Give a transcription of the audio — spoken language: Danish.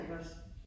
Ja ikke også